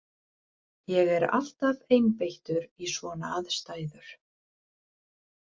Ég er alltaf einbeittur í svona aðstæður.